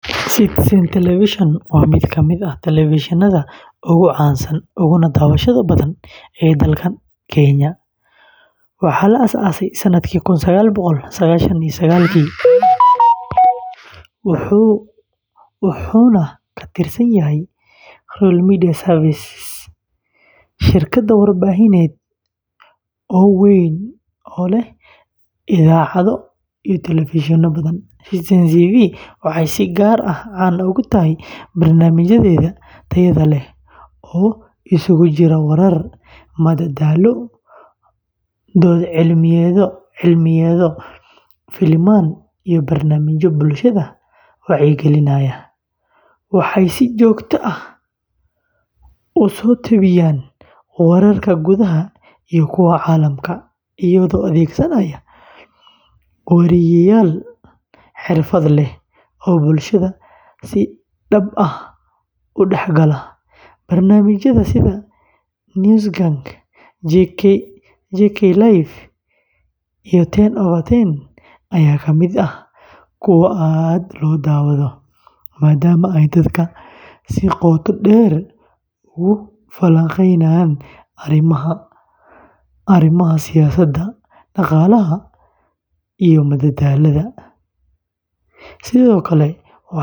Citizen Television waa mid ka mid ah telefishinnada ugu caansan uguna daawashada badan dalka Kenya. Waxaa la aasaasay sanadkii kun sagaal boqol sagashan iyo sagaashii wuxuuna ka tirsan yahay Royal Media Services, shirkad warbaahineed oo weyn oo leh idaacado iyo telefishinno badan. Citizen TV waxay si gaar ah caan ugu tahay barnaamijyadeeda tayada leh oo isugu jira warar, madadaalo, dood cilmiyeedyo, filimaan, iyo barnaamijyo bulshada wacyigelinaya. Waxay si joogto ah u soo tebiyaan wararka gudaha iyo kuwa caalamka, iyagoo adeegsanaya wariyeyaal xirfad leh oo bulshada si dhab ah u dhexgala. Barnaamijyada sida News Gang, JKLive, iyo ten Over ten ayaa ka mid ah kuwa aad loo daawado, maadaama ay dadka si qoto dheer ugu falanqeeyaan arrimaha siyaasadda, dhaqaalaha, iyo madadaalada. Sidoo kale waxay caan ku tahay soo bandhigida dhacdooyinka muhiimka ah.